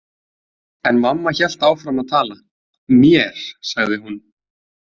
En mamma hélt áfram að tala: Mér, sagði hún.